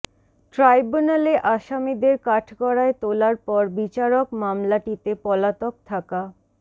ট্রাইব্যুনালে আসামিদের কাঠগড়ায় তোলার পর বিচারক মামলাটিতে পলাতক থাকা